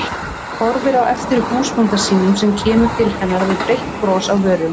Horfir á eftir húsbónda sínum sem kemur til hennar með breitt bros á vörunum.